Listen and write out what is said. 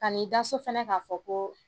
Ka n'i da so fana k'a fɔ ko